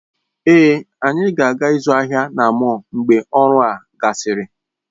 Èé, anyị na-aga ịzụ ahịa na mọll mgbe ọrụ a gasịrị.